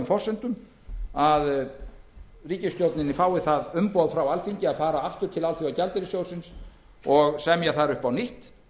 forsendum að ríkisstjórnin fái það umboð frá alþingi að fara aftur til alþjóðagjaldeyrissjóðsins og semja þar upp á nýtt